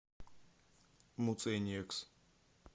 муцениекс